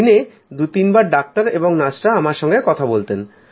দিনে দুতিনবার ডাক্তার এবং নার্সরা আমার সঙ্গে কথা বলতেন